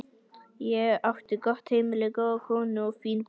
Ég átti gott heimili, góða konu, fín börn.